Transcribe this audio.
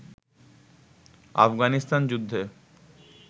আফগানিস্থান-যুদ্ধে